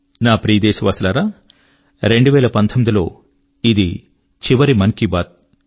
నా ప్రియ దేశవాసులారా 2019 లో ఇది చివరి మన్ కీ బాత్